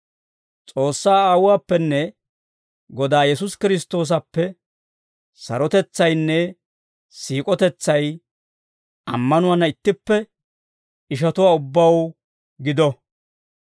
S'oossaa Aawuwaappenne Godaa Yesuusi Kiristtoosappe sarotetsaynne siik'otetsay ammanuwaana ittippe ishatuwaa ubbaw gido;